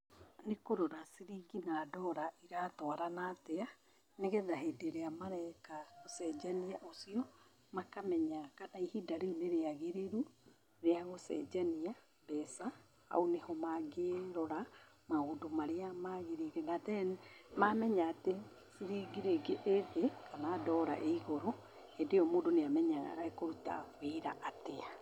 Nĩ kũrora ciringi na ndora, iratwarana atĩa nĩgetha hĩndĩ ĩria mareka ũcenjania ũcio, makamenya kana ihinda rĩu nĩ rĩagĩrĩru rĩa gũcenjania mbeca. Hau nĩ ho mangĩrora maũndũ marĩa maagĩrĩire na then, mamenya atĩ ciringi ríĩgĩ ĩ thĩ kana ndora ĩ igũrũ, hĩndĩ ĩyo mũndũ nĩ amenyaga ekũruta wĩra atĩa.